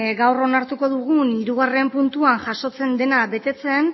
gaur onartuko dugun hirugarren puntuan jasotzen dena betetzen